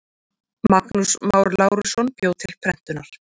Magnús Már Lárusson bjó til prentunar.